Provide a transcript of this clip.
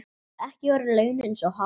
Ekki eru launin svo há.